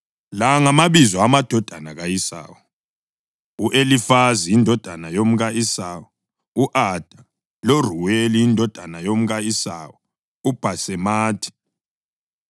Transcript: La ngamabizo amadodana ka-Esawu: U-Elifazi, indodana yomka-Esawu u-Ada, lo Ruweli indodana yomka-Esawu uBhasemathi.